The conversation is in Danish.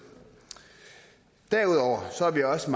derudover er vi også